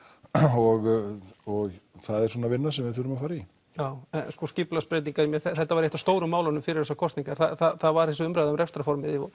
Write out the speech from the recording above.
og og það er svona vinna sem við þurfum að fara í já en sko skipulagsbreytingar þetta var eitt af stóru málunum fyrir þessar kosningar það var þessi stóra umræða um rekstrarformið og